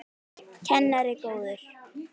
Kennari góður.